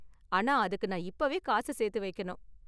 ஆனா, அதுக்கு நான் இப்போவே காசு சேர்த்து வைக்கணும்.